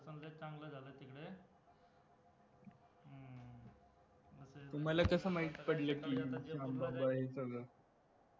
तुम्हाला कसं माहित पडलं कि श्यामबाबा हे सगळं